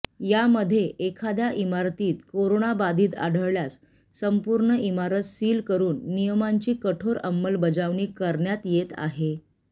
यामध्ये एखाद्या इमारतीत कोरोनाबाधित आढळल्यास संपूर्ण इमारत सिल करून नियमांची कठोर अंमलबजावणी करण्यात येत आहे